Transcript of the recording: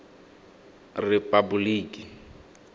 repaboliki